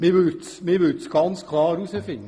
Man würde es herausfinden.